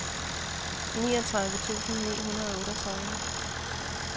niogtredive tusind ni hundrede og otteogtredive